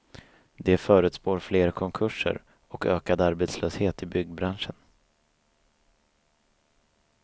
De förutspår fler konkurser och ökad arbetslöshet i byggbranschen.